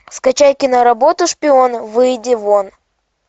скачай киноработу шпион выйди вон